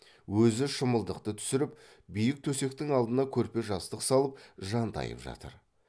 өзі шымылдықты түсіріп биік төсектің алдына көрпе жастық салып жантайып жатыр